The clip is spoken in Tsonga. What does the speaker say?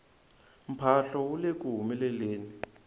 mphahlo wu leku humeleleni